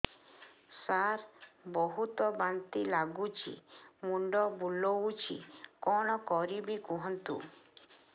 ସାର ବହୁତ ବାନ୍ତି ଲାଗୁଛି ମୁଣ୍ଡ ବୁଲୋଉଛି କଣ କରିବି କୁହନ୍ତୁ